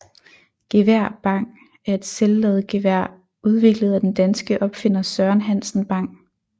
Gevær Bang er et selvladegevær udviklet af den danske opfinder Søren Hansen Bang